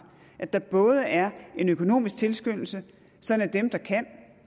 at der både er en økonomisk tilskyndelse sådan at dem der kan